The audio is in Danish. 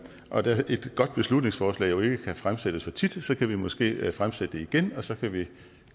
og da et godt beslutningsforslag jo ikke kan fremsættes for tit kan vi måske fremsætte det igen og så kan vi